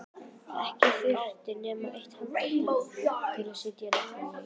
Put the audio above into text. Ekki þurfti nema eitt handtak til að setja negluna í.